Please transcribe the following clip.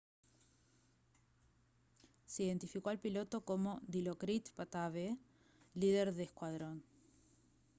se identificó al piloto como dilokrit pattavee líder de escuadrón